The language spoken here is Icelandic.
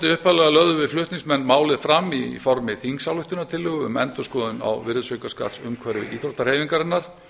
upphaflega lögðum við flutningsmenn málið fram í formi þingsályktunartillögu um endurskoðun á virðisaukaskattsumhverfi íþróttahreyfingarinnar